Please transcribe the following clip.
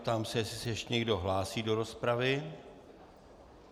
Ptám se, jestli se ještě někdo hlásí do rozpravy.